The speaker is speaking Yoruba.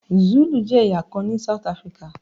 Zulu jẹ́ ẹ̀yà kan ní South Africa.